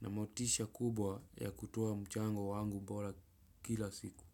na motisha kubwa ya kutoa mchango wangu bola kila siku.